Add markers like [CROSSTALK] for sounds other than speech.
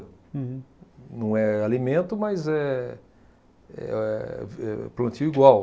Não é alimento, mas é, é, [UNINTELLIGIBLE] é plantio igual.